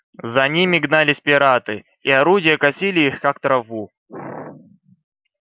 за ними гнались пираты и орудия косили их как траву